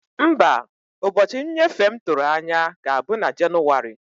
Mba, ụbọchị nnyefe m tụrụ anya ga-abụ na Jenụwarị.